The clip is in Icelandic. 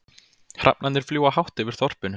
Hrafnarnir fljúga hátt yfir þorpinu.